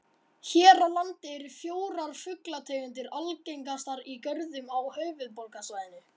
Hér á landi eru fjórar fuglategundir algengastar í görðum á höfuðborgarsvæðinu.